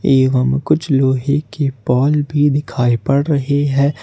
एवं कुछ लोहे की बाल भी दिखाई पड़ रही हैं।